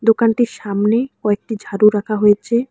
দোকানটির সামনেও একটি ঝাড়ু রাখা হয়েছে।